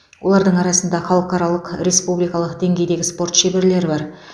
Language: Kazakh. олардың арасында халықаралық республикалық деңгейдегі спорт шеберлері бар